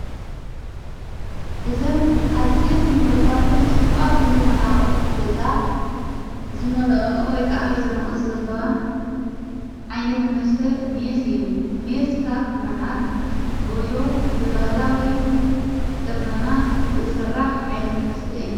እዘን ኣዝን ምዕሩጓትን ጽቡቓትን ዝኾና ኦሕት ገዛ ዝመልኦኦ ወይከዓ ሕዞኖኦት ዘለዋ ዓይነቲ መስተ ምየስ እዩ ምየስካብ መዓር ጐሾ ብበህላዊ ቐመማ ዘሠራሕ ዓይነተ መስተ እዩ።